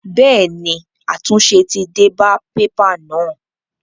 Bẹ́ẹ̀ ni, àtúnṣe ti dé bá pépà náà.